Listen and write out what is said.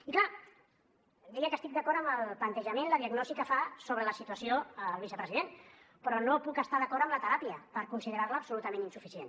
i clar deia que estic d’acord amb el plantejament la diagnosi que fa sobre la situació el vicepresident però no puc estar d’acord amb la teràpia per considerar la absolutament insuficient